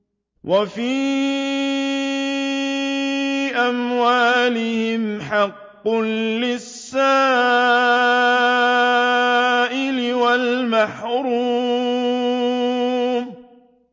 وَفِي أَمْوَالِهِمْ حَقٌّ لِّلسَّائِلِ وَالْمَحْرُومِ